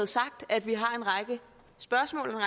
sagt at vi har en række spørgsmål og